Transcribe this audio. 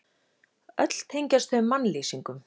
Öll tengjast þau mannlýsingum.